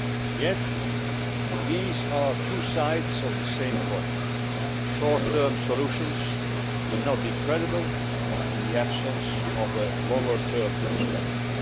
Yet these are two sides of the same coin short term solutions will not be credible in the absence of a longer term perspective.